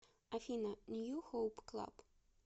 афина нью хоуп клаб